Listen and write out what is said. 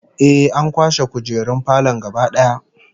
Ehh, an kwashe kujerun falon gaba daya